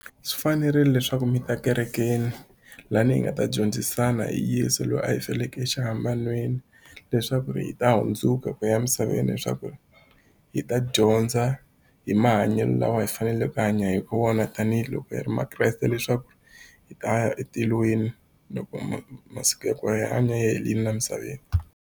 Swi fanerile leswaku mi ta kerekeni lani hi nga ta dyondzisana hi Yeso lweyi a hi fela exihambanweni leswaku hi ta hundzuka ku ya emisaveni leswaku hi ta dya dyondza hi mahanyelo lawa hi faneleke hi hanya wona tanihiloko hi ri makreste leswaku hi taya etilweni loko masiku ya ku hanya ya helini la emisaveni.